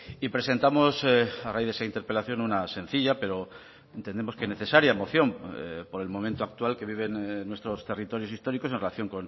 y presentamos a raíz de esa interpelación una sencilla pero entendemos que necesaria moción por el momento actual que viven nuestros territorios históricos en relación